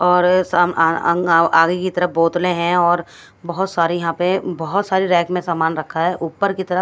और सम अंग अ आगे की तरफ बोतलें हैं और बहुत सारी यहाँ पे बहुत सारी रैक में सामान रखा है ऊपर की तरफ --